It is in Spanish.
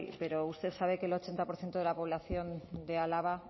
pero usted sabe que el ochenta por ciento de la población de álava